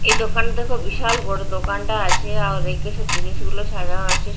এই দোকান দেখ বিশাল বড় দোকানটা আছে আর ব়্যাকে সব জিনিসগুলো সাজানো রয়েছে।